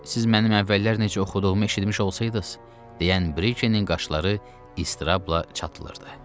Siz mənim əvvəllər necə oxuduğumu eşitmiş olsaydız, deyən Brikenin qaşları istirabla çatılırdı.